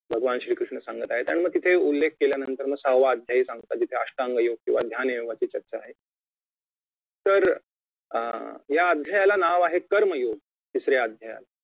भगवान श्री कृष्ण सांगत आहेत आणि मग तिथे उल्लेख केल्यानंतर मग सहाव्वा अध्याय सांगतात जिथे अष्टांग योग्य किंवा ध्यान योग्य अशी चर्चा आहे तर अं या अध्यायाला नाव आहे कर्म योग तिसऱ्या अध्यायाला